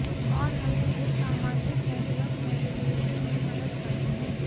और हमें इस सामाजिक नेटवर्क नेविगेशन में मदद करते हैं